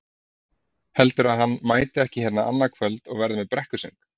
Heldurðu að hann mæti ekki hérna annað kvöld og verði með brekkusöng?